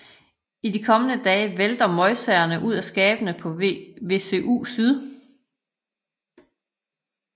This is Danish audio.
I de kommende dage vælter møgsagerne ud af skabene på VUC syd